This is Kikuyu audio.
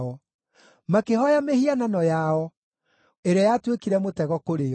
Makĩhooya mĩhianano yao, ĩrĩa yatuĩkire mũtego kũrĩ o.